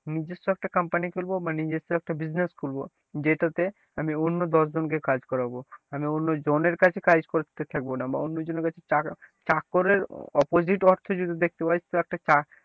নিজস্ব একটা company খুলবো বা নিজস্ব একটা business খুলবো যেটাতে আমি অন্য দশ জনকে কাজ করাব, আমি অন্য জনের কাছে কাজ করতে থাকবো না বা অন্যজনের কাছে চাক~চাকরের opposite অর্থ যদি দেখতে পারিস তো একটা,